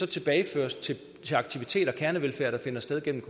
tilbageføres til aktiviteter til kernevelfærd der finder sted gennem